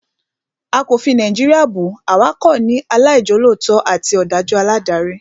A kò fi Nàìjíríà bù, àwa kàn ní àwọn aláìjolótó àti òdájú aládarí